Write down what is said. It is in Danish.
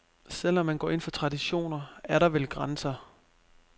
Selv om man går ind for traditioner, er der vel grænser.